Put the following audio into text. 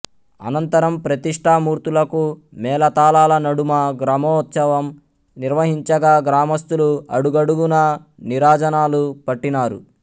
అనంతరం ప్రతిష్ఠా మూర్తులకు మేళతాళాల నడుమ గ్రామోత్సవం నిర్వహించగా గ్రామస్థులు అడుగడుగునా నీరాజనాలు పట్టినారు